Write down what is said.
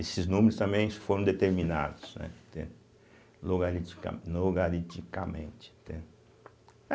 Esses números também foram determinados, né, entende logaritica nogariticamente, entende